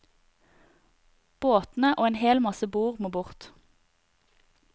Båtene og en hel masse bord må bort.